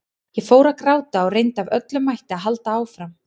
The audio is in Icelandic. Ég fór að gráta og reyndi af öllum mætti að halda áfram.